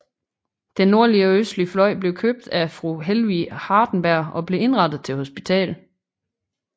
Den nordlige og østlige fløj blev købt af Fru Helvig Hardenberg og blev indrettet til hospital